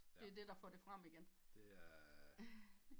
Det er det der får det frem igen